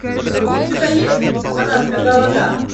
у тебя есть она сказала да